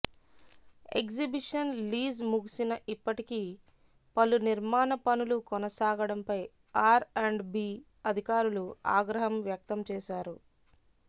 exhibition lease ముగిసిన ఇప్పటికి పలు నిర్మాణ పనులు కొనసాగడంపై ఆర్ అండ్ బి అధికారులు ఆగ్రహం వ్యక్తం చేశారు